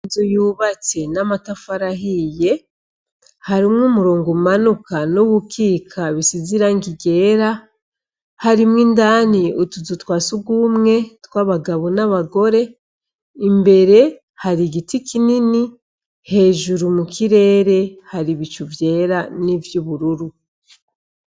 Inzu yubatse n'amatafari ahiye, harimwo umurongo umanuka nuwukika bisize irangi ryera, harimwo indani utuzu twasugumwe tw'abagabo n'abagore, imbere hari igiti kinini, hejuru mu kirere hari ibicu vyera n'ivyubururu.